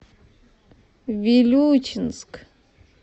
вилючинск